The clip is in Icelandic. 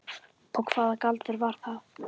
Og hvaða galdur var það?